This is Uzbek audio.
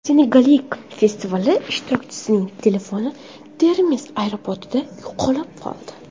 Senegallik festival ishtirokchisining telefoni Termiz aeroportida yo‘qolib qoldi.